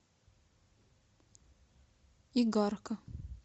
игарка